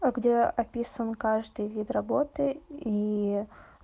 а где описан каждый вид работы и